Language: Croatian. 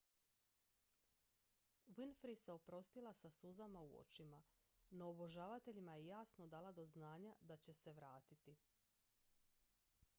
winfrey se oprostila sa suzama u očima no obožavateljima je jasno dala do znanja da će se vratiti